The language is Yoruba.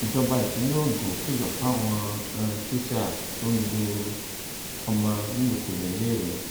ìjọba ìpínlẹ ogun kìlọ fáwọn um tíṣà tó ń lu um ọmọ nílùkulù níléèwé